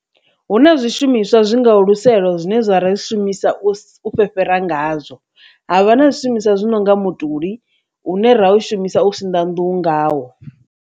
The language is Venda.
Hu na zwishumiswa zwi ngaho luselo zwine ra zwi shumisa u fhefhara ngazwo, havha na zwishumiswa zwi nonga mutuli une ra u shumisa u sinḓa nḓuhu ngawo.